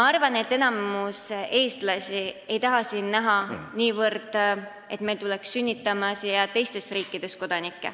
Enamik eestlasi ei taha niivõrd näha seda, et meile tuleks siia sünnitama kodanikke teistest riikidest.